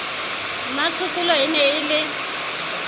mmatshokolo e ne e le